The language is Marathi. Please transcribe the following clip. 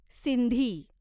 सिंधी